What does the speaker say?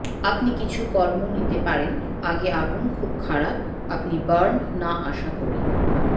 আপনি কিছু কর্ম নিতে পারেন আগে আগুন খুব খারাপ আপনি বার্ন না আশা করি